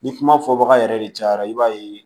Ni kuma fɔ baga yɛrɛ de cayara i b'a ye